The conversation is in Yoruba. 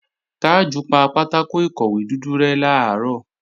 Tájù pa pátákò ìkọ̀wé dúdú rẹ́ làárọ̀